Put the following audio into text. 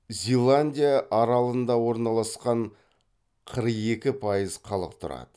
зеландия аралында орналасқан қырық екі пайыз халық тұрады